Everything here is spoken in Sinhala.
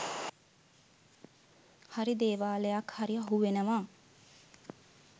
හරි දේවාලයක් හරි අහුවෙනවා